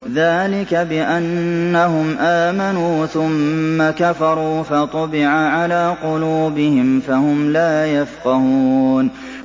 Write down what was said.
ذَٰلِكَ بِأَنَّهُمْ آمَنُوا ثُمَّ كَفَرُوا فَطُبِعَ عَلَىٰ قُلُوبِهِمْ فَهُمْ لَا يَفْقَهُونَ